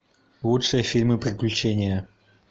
лучшие фильмы приключения